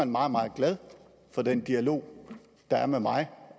meget meget glade for den dialog der er med mig